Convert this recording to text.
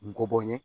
N go bɔ n ye